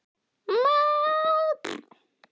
Ég er varla farin að átta mig á þessu enn.